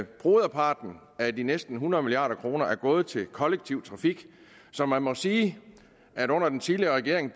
broderparten af de næsten hundrede milliard kroner er gået til kollektiv trafik så man må sige at der under den tidligere regering